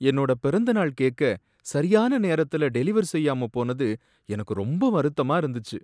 என்னோட பிறந்த நாள் கேக்க சரியான நேரத்துல டெலிவர் செய்யாம போனது எனக்கு ரொம்ப வருத்தமா இருந்துச்சு.